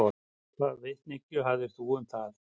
Hvaða vitneskju hafðirðu um það?